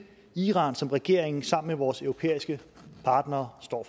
iran som regeringen sammen med vores europæiske partnere står